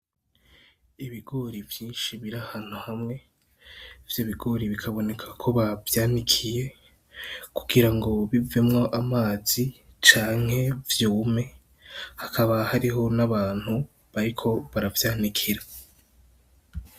Ibigori vyinshi Biri ahantu hamwe , Ivyo bigori bikabonekako bavyanikiye , Kugira bivemwo amazi canke vyume hakaba hariho n'abantu bariko baravyanikira.